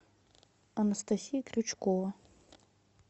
анастасия крючкова